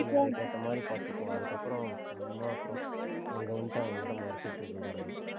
அதுக்கேத்த மாதிரி பாத்துக்கோ அதுக்கப்புறம் சும்மா அப்புறம் அங்க வந்து எங்கிட்ட மொறச்சிட்டு இருக்ககூடாது